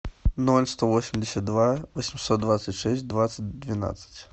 ноль сто восемьдесят два восемьсот двадцать шесть двадцать двенадцать